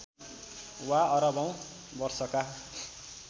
वा अरबौँ वर्षका